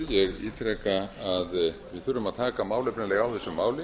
við þurfum að taka málefnalega á þessu máli